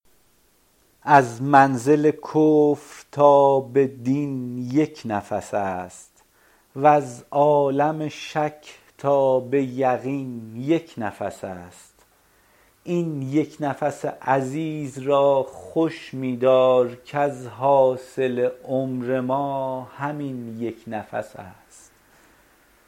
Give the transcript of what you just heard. از منزل کفر تا به دین یک نفس است وز عالم شک تا به یقین یک نفس است این یک نفس عزیز را خوش می دار کز حاصل عمر ما همین یک نفس است